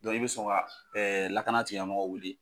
Dɔn i bɛ sɔn ka lakana tigila mɔgɔw wele.